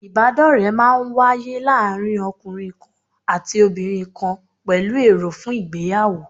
Ìbádọ́ọ̀rẹ́ máa n wáyé láàárín ọkùnrin kan àti obìnrin kan pẹ̀lú èrò fún ìgbéyàwó